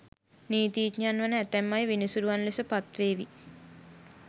නීතිඥයන් වන ඇතැම් අය විනිසුරුවරුන් ලෙස පත්වේවි